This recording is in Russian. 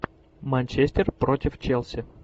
манчестер против челси